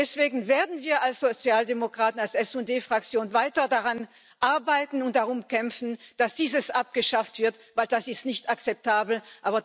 Deswegen werden wir als Sozialdemokraten, als SD Fraktion, weiter daran arbeiten und darum kämpfen, dass dies abgeschafft wird, weil es nicht akzeptabel ist.